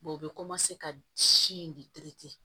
u bɛ ka si in de